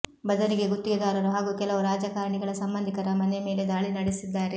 ಬದಲಿಗೆ ಗುತ್ತಿಗೆದಾರರು ಹಾಗೂ ಕೆಲವು ರಾಜಕಾರಣಿಗಳ ಸಂಬಂಧಿಕರ ಮನೆ ಮೇಲೆ ದಾಳಿ ನಡೆಸಿದ್ದಾರೆ